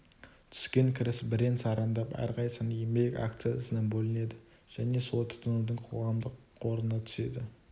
түскен кіріс бірен-сарандап әрқайсысың еңбек акциясына бөлінеді және солай тұтынудың қоғамдық қорына түседі